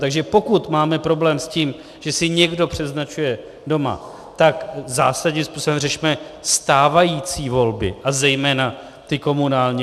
Takže pokud máme problém s tím, že si někdo předznačuje doma, tak zásadním způsobem řešme stávající volby, a zejména ty komunální.